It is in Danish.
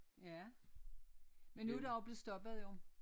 Ja men nu er der også blevet stoppet jo